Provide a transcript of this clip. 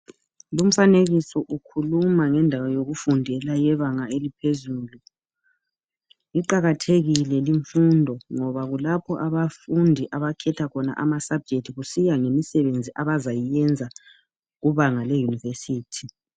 Lumfanekiso ukhuluma ngendaba yokufundela yebanga eliphezulu, iqakathekile limfundo, ngoba kulapho abafundi abakhetha khona ama subject kusiya ngemisebenzi abazayiyenza kubanga le university.